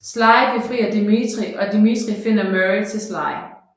Sly befrier Dimitri og Dimitri finder Murray til Sly